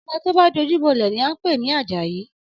Ọmọ tó bá dojú bọ́lẹ̀ ni à ń pè ní Àjàyí